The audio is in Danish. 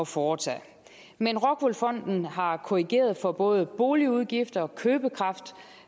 foretage men rockwool fonden har korrigeret for både boligudgifter og købekraft